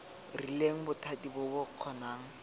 rileng bothati bo bo kgonang